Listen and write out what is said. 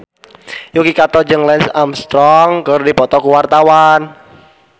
Yuki Kato jeung Lance Armstrong keur dipoto ku wartawan